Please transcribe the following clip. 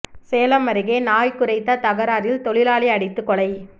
சேலம் அருகே நாய் குரைத்த தகராறில் தொழிலாளி அடித்து கொலை